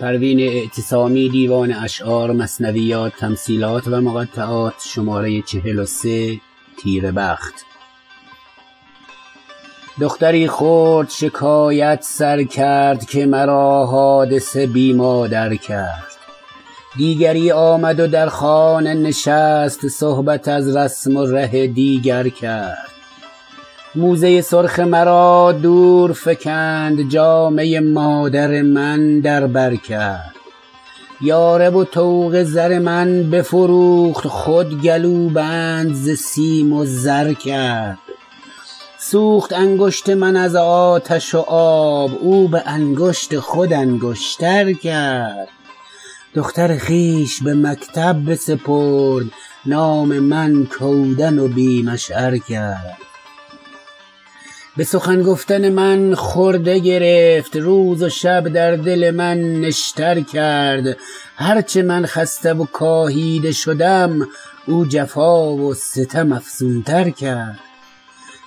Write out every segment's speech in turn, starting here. دختری خرد شکایت سر کرد که مرا حادثه بی مادر کرد دیگری آمد و در خانه نشست صحبت از رسم و ره دیگر کرد موزه سرخ مرا دور فکند جامه مادر من در بر کرد یاره و طوق زر من بفروخت خود گلوبند ز سیم و زر کرد سوخت انگشت من از آتش و آب او بانگشت خود انگشتر کرد دختر خویش به مکتب بسپرد نام من کودن و بی مشعر کرد بسخن گفتن من خرده گرفت روز و شب در دل من نشتر کرد هر چه من خسته و کاهیده شدم او جفا و ستم افزونتر کرد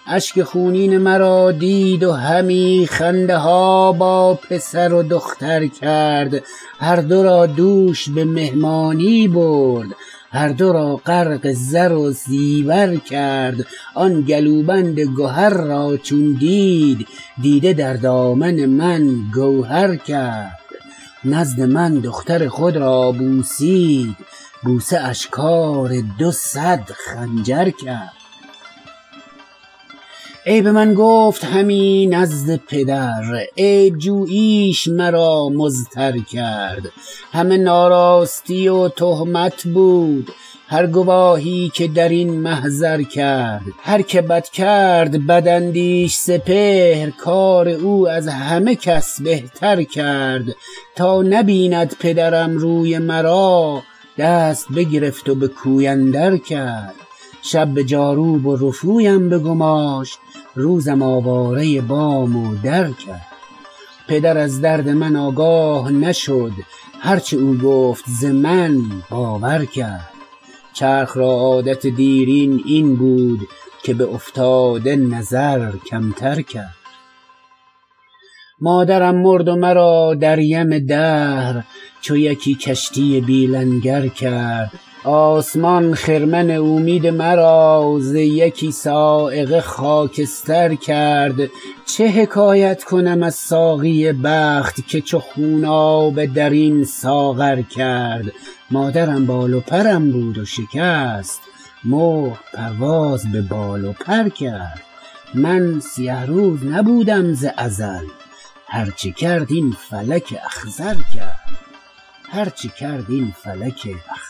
اشک خونین مرا دید و همی خنده ها با پسر و دختر کرد هر دو را دوش بمهمانی برد هر دو را غرق زر و زیور کرد آن گلوبند گهر را چون دید دیده در دامن من گوهر کرد نزد من دختر خود را بوسید بوسه اش کار دو صد خنجر کرد عیب من گفت همی نزد پدر عیب جوییش مرا مضطر کرد همه ناراستی و تهمت بود هر گواهی که در این محضر کرد هر که بد کرد بداندیش سپهر کار او از همه کس بهتر کرد تا نبیند پدرم روی مرا دست بگرفت و بکوی اندر کرد شب بجاروب و رفویم بگماشت روزم آواره بام و در کرد پدر از درد من آگاه نشد هر چه او گفت ز من باور کرد چرخ را عادت دیرین این بود که به افتاده نظر کمتر کرد مادرم مرد و مرا در یم دهر چو یکی کشتی بی لنگر کرد آسمان خرمن امید مرا ز یکی صاعقه خاکستر کرد چه حکایت کنم از ساقی بخت که چو خونابه درین ساغر کرد مادرم بال و پرم بود و شکست مرغ پرواز ببال و پر کرد من سیه روز نبودم ز ازل هر چه کرد این فلک اخضر کرد